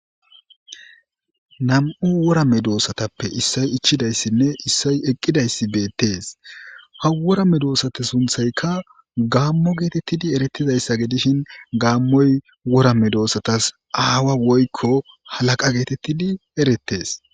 nam7u wora medoossatappe issay ichidayssinne issay eqqidayssi beettees ha worame doossata sunthayka gaammo geetettidi erettizayssa ge dishin gaammoy worame doossatas aawa woykko halaqa geetettidi erettees.